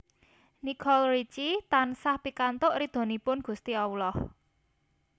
Nicole Richie tansah pikantuk ridhonipun gusti Allah